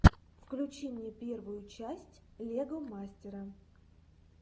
включи мне первую часть лего мастера